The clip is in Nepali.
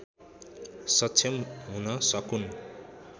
सक्षम हुन सकून्